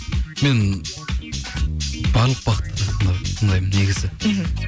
мен барлық бағытты тыңдаймын негізі мхм